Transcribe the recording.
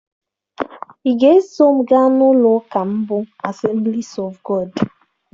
Ị ga-eso m gaa ụlọ ụka m bụ Assemblies of God?